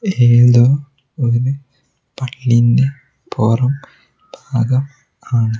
ഏതോ ഒരു പൊറം ഭാഗം ആണ്.